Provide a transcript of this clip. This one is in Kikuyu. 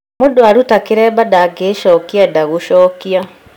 Mũndũ aruta kĩremba ndagĩĩcokia enda gucokia